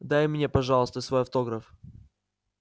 дай мне пожалуйста свой автограф